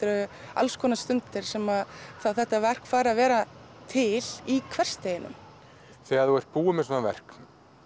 alls konar stundir sem þetta verk fær að vera til í hversdeginum þegar þú ert búin með svona verk